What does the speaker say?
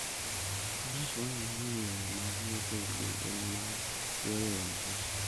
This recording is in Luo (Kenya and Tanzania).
Faras konyo ahinya e yore mag wuoth e gwenge ma yore onge.